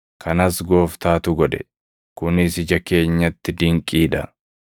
kanas Gooftaatu godhe; kunis ija keenyatti dinqii dha.’ + 12:11 \+xt Far 118:22,23\+xt* ”